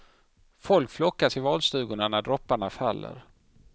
Folk flockas i valstugorna när dropparna faller.